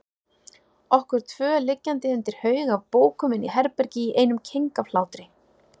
Okkur tvö liggjandi undir haug af bókum inni í herbergi í einum keng af hlátri.